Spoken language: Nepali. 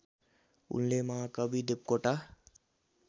उनले महाकवि देवकोटा